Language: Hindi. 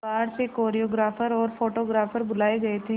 बाहर से कोरियोग्राफर और फोटोग्राफर बुलाए गए थे